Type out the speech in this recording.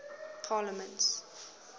parliaments